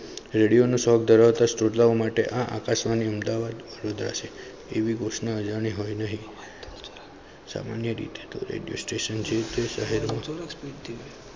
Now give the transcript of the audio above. radio નો શોખ ધરાવતા શ્રોતાઓ માટે આકાશવાણી અમદાવાદ એવી ઘોષણા સંન્યા રીતે radio station જેવીતે શહેર